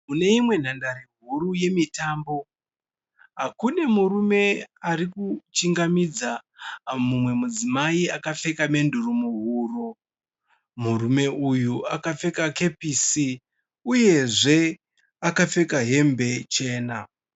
Kune imwe nhandare guru yemitambo. Kune murume ari kuchingamidza mumwe mudzimai akapfeka menduru muhuro . Murume uyu akapfeka kepisi uyezve akapfeka hembe chena.